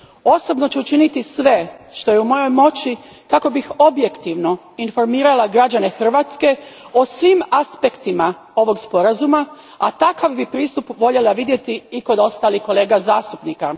Osobno ću učiniti sve što je u mojoj moći kako bih objektivno informirala građane Hrvatske o svim aspektima ovog sporazuma, a takav bih pristup voljela vidjeti i kod ostalih kolega zastupnika.